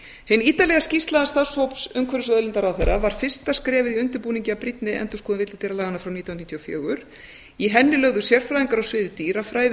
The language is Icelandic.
hin ítarlega skýrsla starfshóps umhverfis og auðlindaráðherra var fyrsta skrefið í undirbúningi að brýnni endurskoðun villidýralaganna frá nítján hundruð níutíu og fjögur í henni lögðu sérfræðingar á sviði dýrafræði